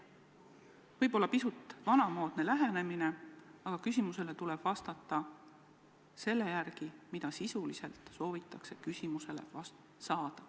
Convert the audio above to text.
Võib-olla on see pisut vanamoodne lähenemine, aga küsimusele tuleb vastata lähtudes sellest, mida sisuliselt soovitakse vastuseks saada.